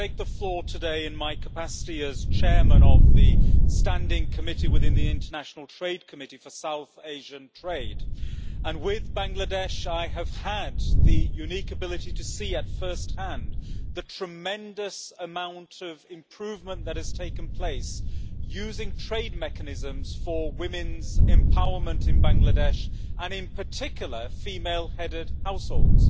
I take the floor today in my capacity as Chairman of the Standing Committee, within the International Trade Committee, for South Asian Trade, and with Bangladesh I have had the unique ability to see at first hand the tremendous amount of improvement that has taken place using trade mechanisms for women's empowerment in Bangladesh and in particular female headed households.